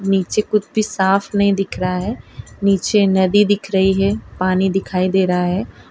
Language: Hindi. नीचे कुछ भी साफ नहीं दिख रहा है नीचे नदी दिख रही है पानी दिखाई दे रहा है।